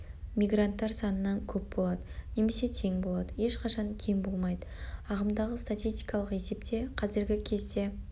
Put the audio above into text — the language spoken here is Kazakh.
мигранттар санынан көп болады немесе тең болады ешқашан кем болмайды ағымдағы статистикалық есепте қазіргі кезде